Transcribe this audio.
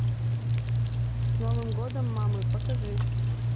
с новым годом мамы покажи